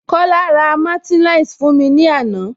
Kola ra martineliss fún mi ní ana